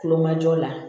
Kulomajɔ la